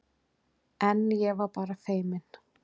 En ég var bara feiminn.